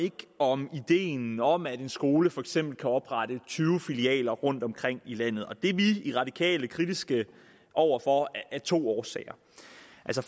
om ideen om at en skole for eksempel kan oprette tyve filialer rundtomkring i landet det er vi i radikale kritiske over for af to årsager